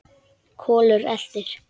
Kolur eltir.